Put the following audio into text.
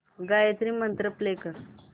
गायत्री मंत्र प्ले कर